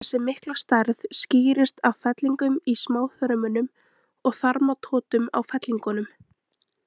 Þessi mikla stærð skýrist af fellingum í smáþörmunum og þarmatotum á fellingunum.